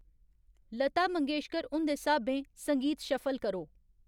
लता मंगेशकर हुंदे स्हाबें संगीत शफल करो